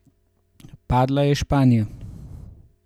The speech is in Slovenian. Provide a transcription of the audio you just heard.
Padla je Španija!